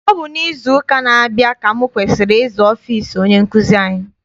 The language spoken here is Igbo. Ọ bụ n'izu ụka na-abia ka m kwesịrị ịza ọfịịsi onye nkụzi anyị.